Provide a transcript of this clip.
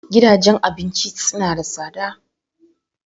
Gidajen abinci suna da tsada.